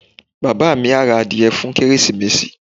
Bàbá mi á ra adìẹ fún Kérésìmesì.